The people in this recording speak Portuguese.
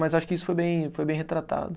Mas acho que isso foi bem, foi bem retratado.